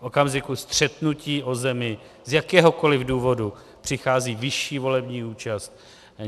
V okamžiku střetnutí o zemi z jakéhokoli důvodu přichází vyšší volební účast.